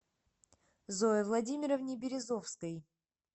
зое владимировне березовской